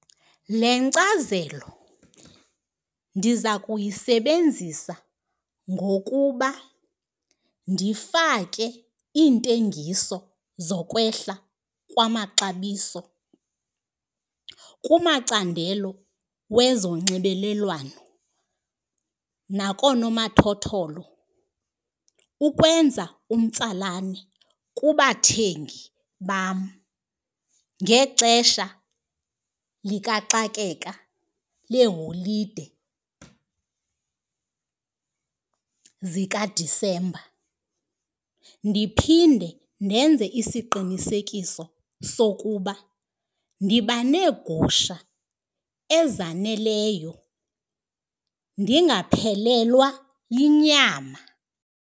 Le nkcazelo ndiza kuyisebenzisa ngokuba ndifake iintengiso zokwehla kwamaxabiso kumacandelo wezonxibelelwano nakoonomathotholo, ukwenza umtsalane kubathengi bam ngexesha likaxakeka leholide zikaDisemba. Ndiphinde ndenze isiqinisekiso sokuba ndiba neegusha ezaneleyo ndingaphelelwa yinyama.